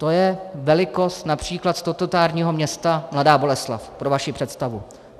To je velikost například statutárního města Mladá Boleslav, pro vaši představu.